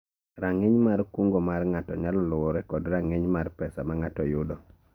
Rang'iny mar kungo mar ng'ato nyalo luwore kod rang'iny mar pesa mang'ato yudo